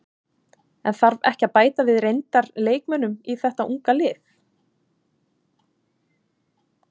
En þarf ekki að bæta við reyndar leikmönnum í þeta unga lið?